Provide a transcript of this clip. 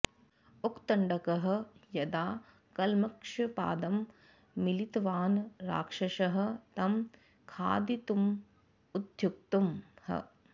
उत्तङ्कः यदा कल्मषपादं मिलितवान् राक्षसः तं खादितुं उद्युक्तः